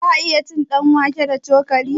Za'a iya cin ɗanwake da cokali?